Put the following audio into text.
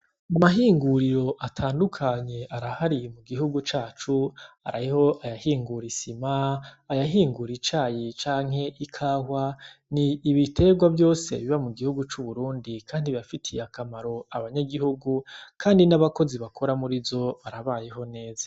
Amahinguriro atandukanye arahariye mu gihugu cacu araiho ayahingura isima ayahingura icaye canke i kahwa ni ibiterwa vyose biba mu gihugu c'uburundi, kandi bafitiye akamaro abanyagihugu, kandi n'abakozi bakora muri zo barabayeho neza.